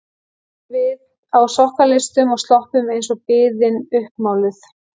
Og þarna vorum við á sokkaleistum og sloppum eins og biðin uppmáluð.